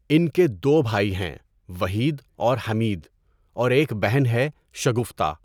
ان کے دو بھائی ہیں وحید اور حمید، اور ایک بہن ہے، شگفتہ۔